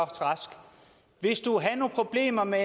rask hvis du havde nogle problemer med